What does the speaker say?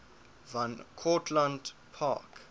van cortlandt park